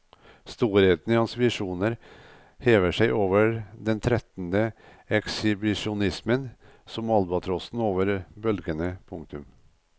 Storheten i hans visjoner hever seg over den trettende ekshibisjonismen som albatrossen over bølgene. punktum